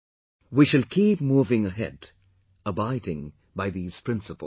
We shall keep moving ahead abiding by these principles